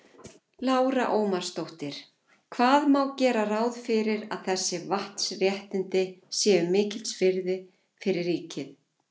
Lára Ómarsdóttir: Hvað má gera ráð fyrir að þessi vatnsréttindi séu mikils virði fyrir ríkið?